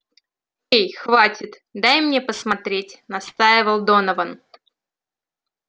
эй хватит дай мне посмотреть настаивал донован